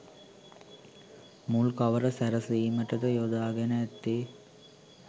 මුල් කවර සැරසීමටද යොදාගෙන ඇත්තේ